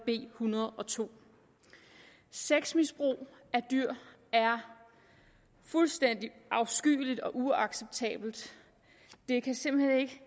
en hundrede og to sexmisbrug af dyr er fuldstændig afskyeligt og uacceptabelt det kan simpelt hen ikke